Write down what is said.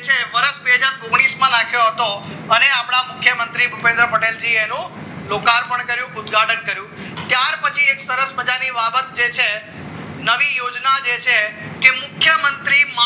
છે વર્ષ બે હજાર ઓગણીસ માં નાખ્યો હતો અને આપ્યા મુખ્યમંત્રી ભુપેન્દ્ર પટેલ જીએનુ લોકાર્પણ કર્યું ઉદ્ઘાટન કર્યું ત્યાર પછી એક સરસ મજાની બાબત જે છે નવી યોજના જે છે કે મુખ્યમંત્રી